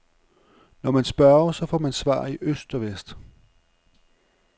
Når man spørger, så får man svar i øst og vest.